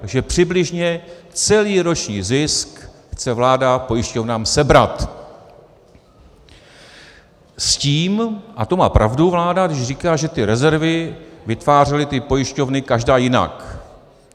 Takže přibližně celý roční zisk chce vláda pojišťovnám sebrat s tím, a to má pravdu vláda, když říká, že ty rezervy vytvářely ty pojišťovny každá jinak.